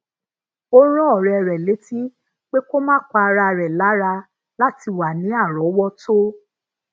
ó rán òré rè létí pé ko ma pa ara re lara lati wa ni áròówótó